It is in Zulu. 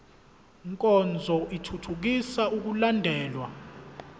nkonzo ithuthukisa ukulandelwa